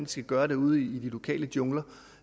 skal gøre det ude i de lokale jungler